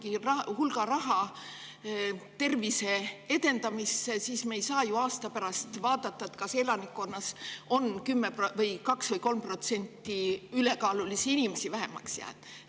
Kui me paneme mingi hulga raha tervise edendamisse, siis me ei saa ju aasta pärast vaadata, kas elanikkonnas on 2% või 3% ülekaalulisi inimesi vähemaks jäänud.